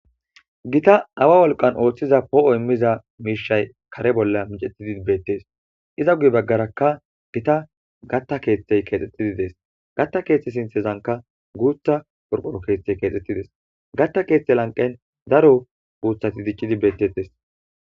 gita awa wolqan ooththiza poo'o immiza miishay kare bolla micettidi beettees iza guye baggaraka gita gatta keeththey keexxetidi dees gatta keeththe sinthezanka guutha qorqoro keeththey keexxettides gatta keeththe lanqen daro guuthati diccidi bettettes